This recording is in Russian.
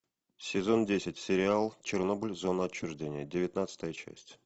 сезон десять сериал чернобыль зона отчуждения девятнадцатая часть